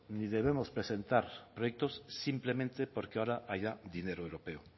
ni debemos presentar proyectos simplemente porque ahora haya dinero europeo